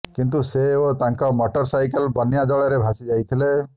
କିନ୍ତୁ ସେ ଓ ତାଙ୍କ ମଟର ସାଇକେଲ ବନ୍ୟା ଜଳରେ ଭାସିଯାଇଥିଲେ